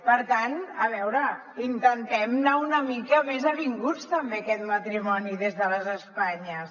per tant a veure intentem anar una mica més avinguts també aquest matrimoni des de les espanyes